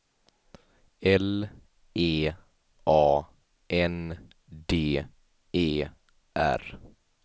L E A N D E R